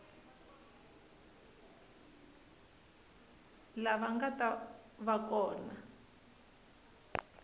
lava nga ta va kona